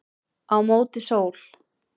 Á móti sól